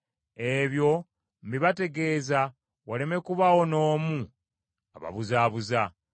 Ebyo mbibategeeza waleme kubaawo n’omu ababuzaabuza.